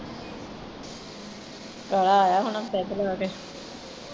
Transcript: ਤਾਇਆ ਆਇਆ ਹੁਣਾ ਪੈਗ ਲਗਾ ਕੇ?